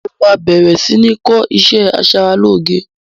Mo máa bẹ̀rẹ̀ si ni kọ́ ìṣẹ́ asaralóge